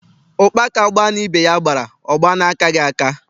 Ụkpaka gbaa na ibe ya gbara, ọ gbaa n’akaghị aka.